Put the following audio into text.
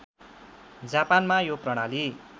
जापानमा यो प्रणाली